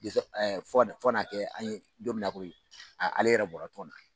fɔ ka na fɔ ka na kɛ an ye don min na ko ale yɛrɛ bɔra tɔn na.